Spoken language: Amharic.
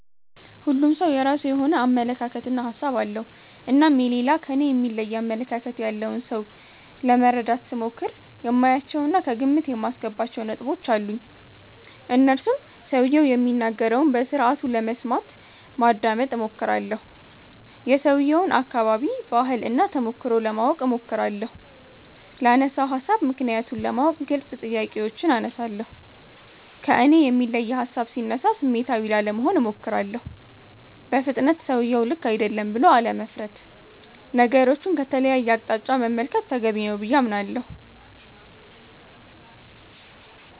ሁሉም ሠው የራሱ የሆነ አመለካከት እና ሀሣብ አለው። እናም የሌላ ከኔ የሚለይ አመለካከት ያለውን ሠው ለመረዳት ስሞክር የማያቸው እና ከግምት የማስገባቸው ነጥቦች አሉኝ። እነርሱም ሠውየው የሚናገረውን በስርአቱ ለመስማት (ማዳመጥ ) እሞክራለሁ። የሠውየውን አከባቢ፣ ባህል እና ተሞክሮ ለማወቅ እሞክራለሁ። ላነሣው ሀሣብ ምክንያቱን ለማወቅ ግልጽ ጥያቄዎችን አነሣለሁ። ከእኔ የሚለይ ሀሣብ ሢነሣ ስሜታዊ ላለመሆን እሞክራለሁ። በፍጥነት ሠውየው ልክ አይደለም ብሎ አለመፍረድ። ነገሮቹን ከተለየ አቅጣጫ መመልከት ተገቢ ነው ብዬ አምናለሁ።